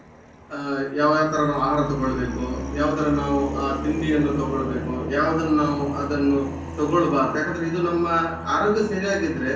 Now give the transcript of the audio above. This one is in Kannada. ಆ ಯಾವ ಯಾವ ತರ ನಾವು ಆಹಾರ ತೊಗೊಳ್ಬೇಕು ಯಾವ ತರ ನಾವು ತಿಂಡಿಯನ್ನು ತೊಗೊಳ್ಬೇಕು ಯಾವುದನ್ನು ನಾವು ಅದನ್ನುತೊಗೊಳ್ಬಾರ್ದು. ಯಾಕಂದ್ರೆ ಇದು ನಮ್ಮ ಆರೋಗ್ಯ ಸರಿಯಾಗಿದ್ರೆ